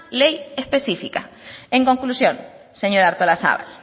ley específica en conclusión señora artolazabal